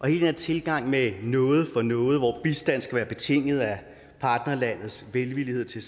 her tilgang med noget for noget hvor bistanden skal være betinget af partnerlandets velvillighed til